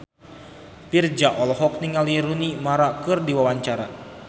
Virzha olohok ningali Rooney Mara keur diwawancara